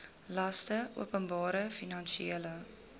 laste openbare finansiële